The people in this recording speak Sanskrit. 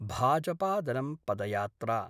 भाजपादलं पदयात्रा